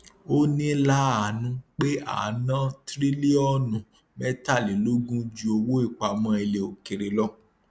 ó ní láàánú pé a ná tírílíọnù mẹtàlélógún ju owó ìpamọ ilẹ òkèèrè lọ